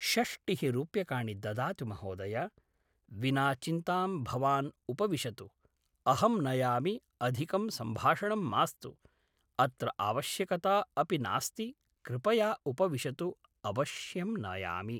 षष्टिः रूप्यकाणि ददातु महोदय विना चिन्तां भवान् उपविशतु अहं नयामि अधिकं सम्भाषणं मास्तु अत्र आवश्यकता अपि नास्ति कृपया उपविशतु अवश्यं नयामि